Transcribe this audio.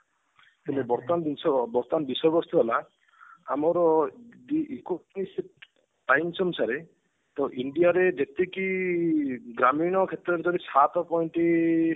କିନ୍ତୁ ବର୍ତମାନ ଜିନିଷ ବର୍ତମାନ ବିଷୟ ବସ୍ତୁ ହେଲା ଆମର times ଅନୁସାରେ ତ India ରେ ଯେତିକି ଗ୍ରାମୀଣ କ୍ଷେତ୍ରରେ ଯଦି ସାତ କହନ୍ତି